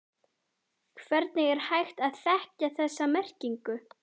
Hvernig er hægt að þekkja þessa merkingu?